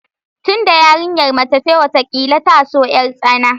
Tunda yarinyar mace ce, watakila ta so yartsana